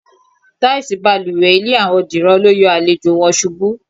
Táìsì balùwè ilé àwo̩n Dìran lo yo̩ àlejò̩ wo̩n s̩ubú.